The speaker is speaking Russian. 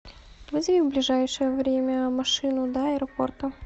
вызови в ближайшее время машину до аэропорта